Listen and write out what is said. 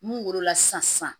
Mun wolola sisan